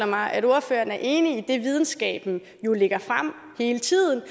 mig at ordføreren er enig i det som videnskaben jo lægger frem hele tiden